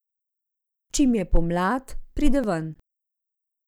Čim je pomlad, pride ven.